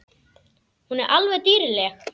Hún er alveg dýrleg!